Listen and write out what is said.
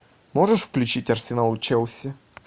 можешь включить арсенал челси